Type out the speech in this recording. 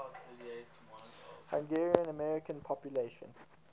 hungarian american population